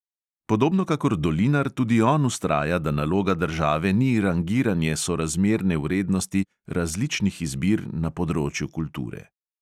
Podobno kakor dolinar tudi on vztraja, da naloga države ni rangiranje sorazmerne vrednosti različnih izbir na področju kulture.